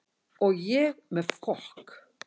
Og ég með fokk